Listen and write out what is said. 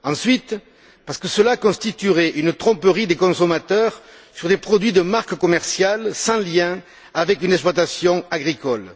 Ensuite, parce que cela constituerait une tromperie des consommateurs sur des produits de marque commerciale sans lien avec une exploitation agricole.